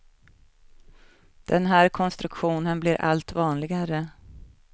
Den här konstruktionen blir allt vanligare.